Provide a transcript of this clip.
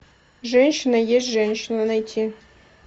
женщина есть женщина найти